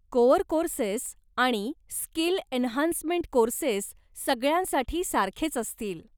Core courses आणि skill enhancement courses सगळ्यांसाठी सारखेच असतील.